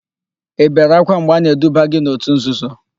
Ị bere ákwá mgbe a na-eduba gị n'òtù nzuzo?